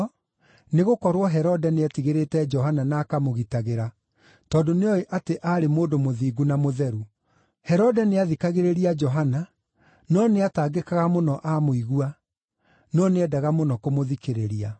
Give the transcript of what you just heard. nĩgũkorwo Herode nĩetigĩrĩte Johana na akamũgitagĩra, tondũ nĩoĩ atĩ aarĩ mũndũ mũthingu na mũtheru. Herode nĩathikagĩrĩria Johana, no nĩatangĩkaga mũno amũigua; no nĩendaga mũno kũmũthikĩrĩria.